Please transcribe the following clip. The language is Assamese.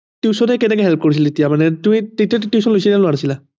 Tution এ কেনেকে help কৰিছিল তেতিয়া মানে তুমি তেতিয়া tuition লৈছিলা নে লোৱা নাছিলা